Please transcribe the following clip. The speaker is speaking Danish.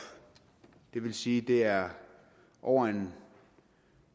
det vil sige at det er over en